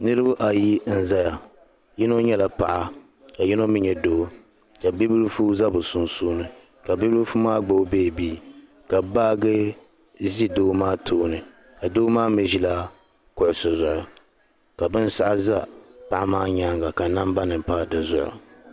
Niriba ayi n-zaya yino nyɛla paɣa ka yino mi nyɛ doo ka bibilifu za bɛ sunsuuni ka bibilifu maa gbibi beebii ka baaji ʒi doo maa tooni ka doo maa mi ʒila kuɣisi zuɣu ka binshɛɣu za paɣa maa nyaaŋga ka nambanima pa di zuɣu.